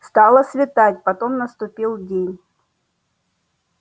стало светать потом наступил день